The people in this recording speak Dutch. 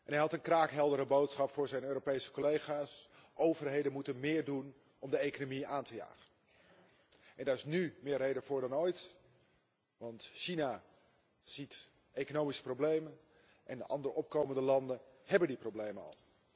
Hij had een kraakheldere boodschap voor zijn Europese collega's overheden moeten meer doen om de economie aan te jagen. Daar is nu meer reden voor dan ooit, want China ziet economische problemen en de andere opkomende landen hebben die problemen al.